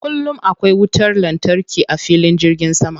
Kullum akwai wutar lantarki a filin jirgin sama.